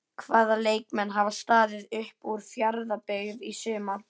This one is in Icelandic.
Hvaða leikmenn hafa staðið upp úr hjá Fjarðabyggð í sumar?